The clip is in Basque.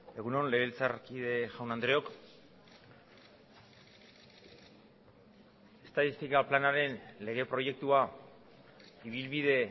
egun on legebiltzarkide jaun andreok estatistika planaren legeproiektua ibilbide